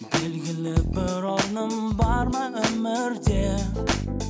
белгілі бір орным бар ма өмірде